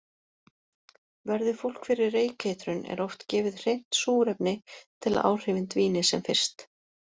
Verði fólk fyrir reykeitrun er oft gefið hreint súrefni til að áhrifin dvíni sem fyrst.